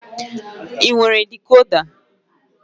Ị nwere dikoda?